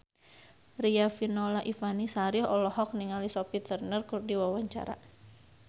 Riafinola Ifani Sari olohok ningali Sophie Turner keur diwawancara